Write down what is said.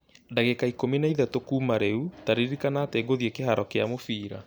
ndagĩka ikũmi na ĩtatũ kuuma rĩu, ta ririkana atĩ ngũthiĩ kĩhaaro kĩa mũbira